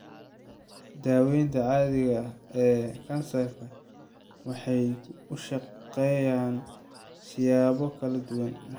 Daawayntan caadiga ah ee kansarka waxay u shaqeeyaan siyaabo kala duwan.